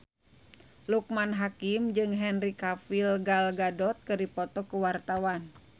Loekman Hakim jeung Henry Cavill Gal Gadot keur dipoto ku wartawan